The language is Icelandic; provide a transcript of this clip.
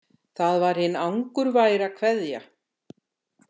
Það var hin angurværa „Kveðja“.